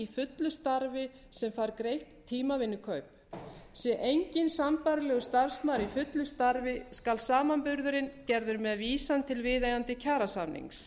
fullu starfi sem fær greitt tímavinnukaup sé enginn sambærilegur starfsmaður í fullu starfi skal samanburðurinn gerður með vísan til viðeigandi kjarasamnings